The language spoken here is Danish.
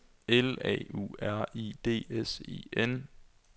L A U R I D S E N